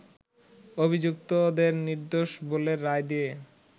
অভিযুক্তদের নির্দোষ বলে রায় দিয়ে